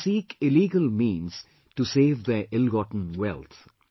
They seek illegal means to save their illgotten wealth